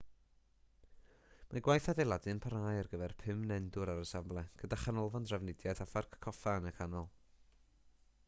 mae gwaith adeiladu yn parhau ar gyfer pum nendwr ar y safle gyda chanolfan drafnidiaeth a pharc coffa yn y canol